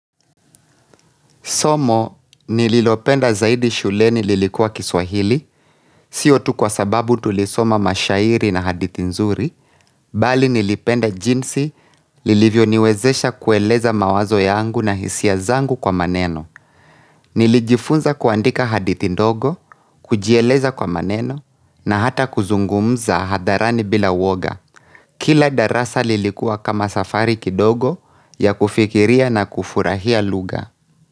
Somo nililopenda zaidi shuleni lilikuwa kiswahili, sio tu kwa sababu tulisoma mashairi na hadithi nzuri, bali nilipenda jinsi lilivyo niwezesha kueleza mawazo yangu na hisia zangu kwa maneno. Nilijifunza kuandika hadithi ndogo, kujieleza kwa maneno, na hata kuzungumza hadharani bila woga. Kila darasa lilikuwa kama safari kidogo ya kufikiria na kufurahia lugha.